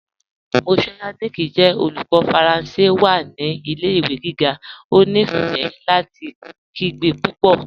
Monsieur Yannick jẹ olùkọ̀ Faranse wa ni ilẹ̀-ìwé gígá, ó nífé láti kìgbe púpọ́.